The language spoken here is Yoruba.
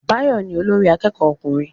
Báyọ̀ ni olórí akẹ́kọ̀ọ́ ọkùnrin